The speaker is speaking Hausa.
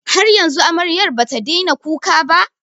Har yanzu amaryar ba ta daina kuka ba?